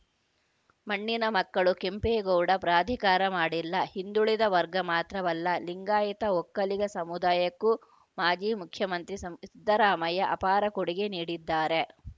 ಮಣ್ಣಿನ ಮಕ್ಕಳು ಕೆಂಪೇಗೌಡ ಪ್ರಾಧಿಕಾರ ಮಾಡಿಲ್ಲ ಹಿಂದುಳಿದ ವರ್ಗ ಮಾತ್ರವಲ್ಲ ಲಿಂಗಾಯತ ಒಕ್ಕಲಿಗ ಸಮುದಾಯಕ್ಕೂ ಮಾಜಿ ಮುಖ್ಯಮಂತ್ರಿ ಸಂ ಸಿದ್ದರಾಮಯ್ಯ ಅಪಾರ ಕೊಡುಗೆ ನೀಡಿದ್ದಾರೆ